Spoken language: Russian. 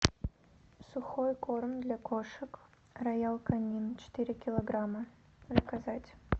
сухой корм для кошек роял канин четыре килограмма заказать